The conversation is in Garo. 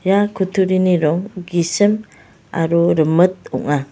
ia kutturini rong gisim aro rimit ong·a.